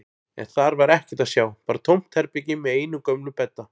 En þar var ekkert að sjá, bara tómt herbergi með einum gömlum bedda.